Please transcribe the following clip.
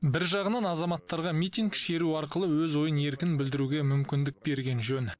бір жағынан азаматтарға митинг шеру арқылы өз ойын еркін білдіруге мүмкіндік берген жөн